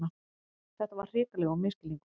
Þetta var hrikalegur misskilningur!